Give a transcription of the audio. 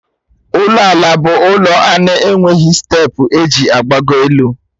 Ụlọ ala bụ ụlọ na-enweghị steepụ eji agbago elu